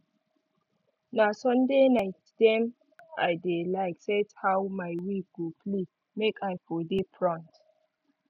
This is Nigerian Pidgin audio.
na sunday night dem i dey like set how my week go play make i for dey front